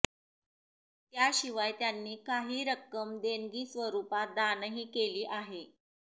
त्याशिवाय त्यांनी काही रक्कम देणगी स्वरुपात दानही केली आहे